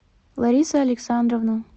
лариса александровна